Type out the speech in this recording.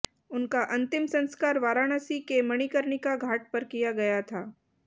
उनका अंतिम संस्कार वाराणसी के मणिकर्णिका घाट पर किया गया था